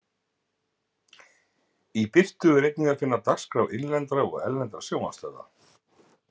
Í Birtu er einnig að finna dagskrá innlendra og erlendra sjónvarpsstöðva.